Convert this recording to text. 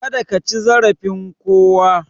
Kada kaci zarafin kowa